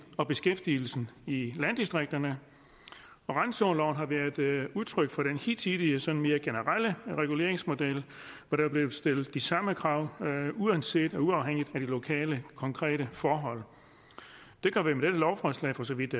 og beskæftigelsen i landdistrikterne randzoneloven har været udtryk for den hidtidige sådan mere generelle reguleringsmodel hvor der er blevet stillet de samme krav uanset og uafhængigt af de lokale konkrete forhold det gør vi med dette lovforslag for så vidt